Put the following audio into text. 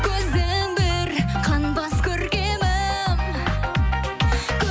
көзім бір қанбас көркемім